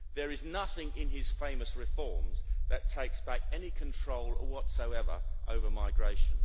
There is nothing in his famous reforms that takes back any control whatsoever over migration.